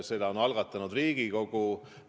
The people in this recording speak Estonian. Selle on algatanud Riigikogu.